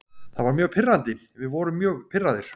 Það var mjög pirrandi, við vorum mjög pirraðir.